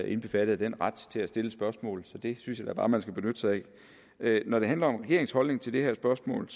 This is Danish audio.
indbefattet af den ret til at stille spørgsmål så det synes jeg da bare at man skal benytte sig af når det handler om regeringens holdning til det her spørgsmål